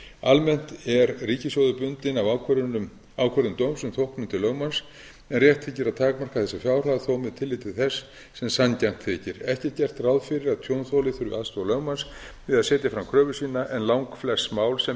almennt er ríkissjóður bundinn af ákvörðun dóms um þóknun til lögmanns en rétt þykir að takmarka þessa fjárhæð þó með tilliti til þess sem sanngjarnt þykir ekki er gert ráð fyrir að tjónþoli þurfi aðstoð lögmanns við að setja fram kröfu sína en langflest mál sem